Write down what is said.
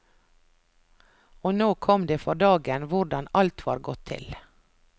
Og nå kom det for dagen hvordan alt var gått til.